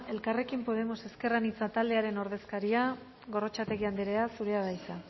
elkarrekin podemos ezker anitza taldearen ordezkaria gorrotxategi andrea zurea da hitza